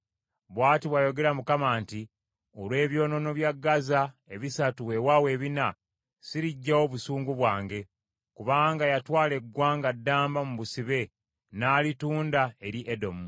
Bw’ati bw’ayogera Mukama nti, “Olw’ebyonoono bya Gaza ebisatu, weewaawo ebina, siriggyawo busungu bwange. Kubanga yatwala eggwanga ddamba mu busibe n’alitunda eri Edomu.